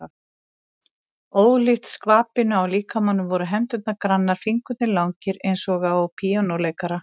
Ólíkt skvapinu á líkamanum voru hendurnar grannar, fingurnir langir eins og á píanóleikara.